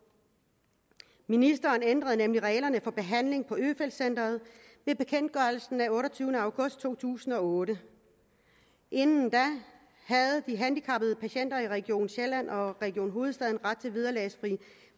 ministeren ændrede nemlig reglerne for behandling på øfeldt centret ved bekendtgørelsen af den otteogtyvende august to tusind og otte inden da havde de handicappede patienter i region sjælland og region hovedstaden ret til vederlagsfri